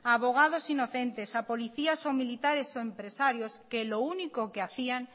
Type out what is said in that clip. a abogados inocentes a policías o militares o empresarios que lo único que hacían